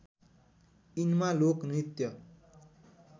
यिनमा लोक नृत्य